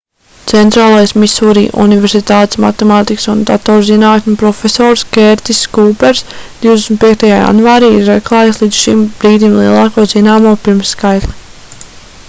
centrālās misūri universitātes matemātikas un datorzinātņu profesors kērtiss kūpers 25. janvārī ir atklājis līdz šim brīdim lielāko zināmo pirmskaitli